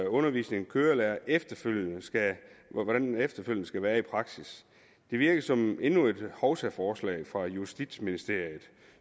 undervisningen af kørelærere efterfølgende skal efterfølgende skal være i praksis det virker som endnu et hovsaforslag fra justitsministeriet